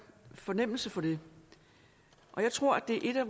fornemmelse for det og jeg tror at det er et af